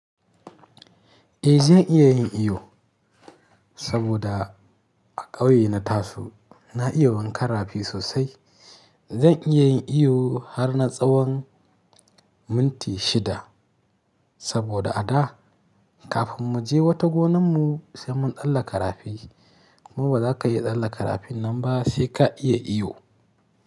Eh zan iya yin iyo, saboda a ƙauye na Taso na iya wankan rafi sosai. Zan iya yin iyo har na tsawon minti shida, saboda a da kafin mu je wata gonan mu sai mun tsaallaka karafi. Kuma ba za ka iya tsaallaka rafin nan ba sai ka iya iyo.